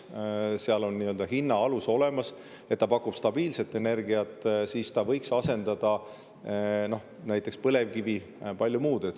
Selle puhul on nii-öelda hinna alus olemas, ta pakub stabiilset energiat, ta võiks asendada näiteks põlevkivi, palju muud.